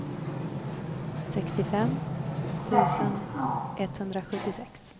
sextiofem tusen etthundrasjuttiosex